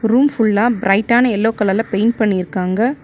Room full லா bright டான yellow colour ல பெயிண்ட் பண்ணிருக்காங்க.